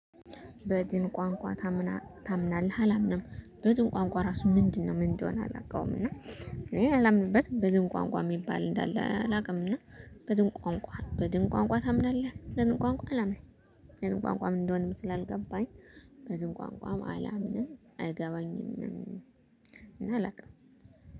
በድን ቋንቋ ታምናለህ? አላምንም። በድን ቋንቋ ራሱ ምንድነው? ምን እንደሆነ አላቀውም እና እኔ አላምንበትም። በድን ቋንቋ የሚባል እንዳለ አላውቅ። እና በድን ቋንቋ በድን ቋንቋ ታምናለህ? በድን ቋንቋ አላምንም። በድን ቋንቋ ምን እንደሆነ ስላልገባኝ በድን ቋንቋም አላምንም አይገባኝምም እና አላውቅም።